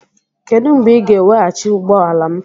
Kedu mgbe ị ga-eweghachi ụgbọ ala m?